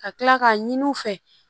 Ka kila k'a ɲini u fɛ